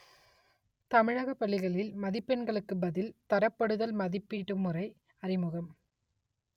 தமிழகப் பள்ளிகளில் மதிப்பெண்ணுக்கு பதில் தரப்படுத்தல் மதிப்பீட்டு முறை அறிமுகம்